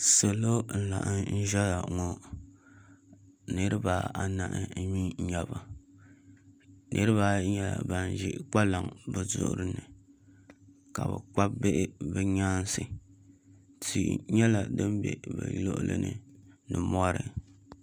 Salo n laɣam ʒɛya ŋɔ niraba anahi mii n nyɛba niraba ayi nyɛla ban ʒi kpalaŋ bi zuɣuri ni ka bi kpabi bihi bi nyaansi tihi nyɛla din bɛ bi luɣuli ni ni mɔri